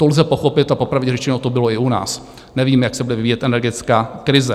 To lze pochopit - a popravdě řečeno, to bylo i u nás - nevíme, jak se bude vyvíjet energická krize.